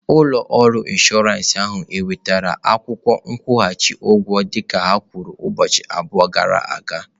Ụlọ ọrụ inshọransị ahụ wetara akwụkwọ nkwụghachi ụgwọ dịka ha kwuru ụbọchị abụọ gara aga?